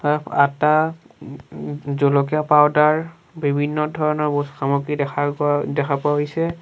আতা উম উম জলকীয়া পাউদাৰ বিভিন্ন ধৰণৰ বহুত সামগ্ৰী দেখা পোৱা দেখা পোৱা হৈছে।